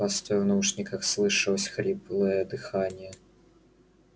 постой в наушниках слышалось хриплое дыхание